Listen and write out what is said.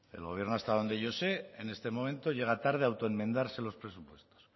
el gobierno hasta donde yo sé en este momento llega tarde a autoenmendarse los presupuestos